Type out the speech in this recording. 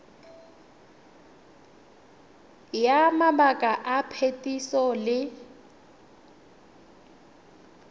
ya mabaka a phetiso le